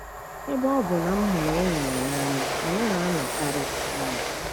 Ebe ọ bụ na m hụrụ ịnyịnya n'anya, anyị na-anọkọkarị ọnụ.